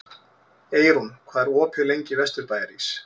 Eyrún, hvað er opið lengi í Vesturbæjarís?